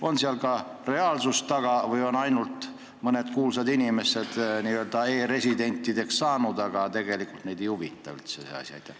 On selle taga ka reaalsust või on ainult mõned kuulsad inimesed saanud e-residentideks, aga tegelikult neid ei huvita üldse see asi?